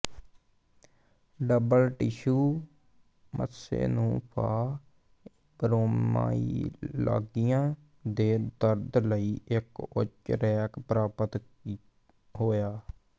double tissue ਮੱਸੇ ਨੂੰ fibromyalgia ਦੇ ਦਰਦ ਲਈ ਇੱਕ ਉੱਚ ਰੈਂਕ ਪ੍ਰਾਪਤ ਹੋਈ